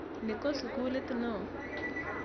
Ni ko sukulit ne oo.